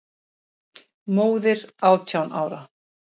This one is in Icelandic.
Móðir átján ára?